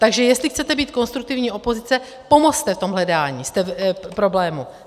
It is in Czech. Takže jestli chcete být konstruktivní opozice, pomozte v tom hledání problému.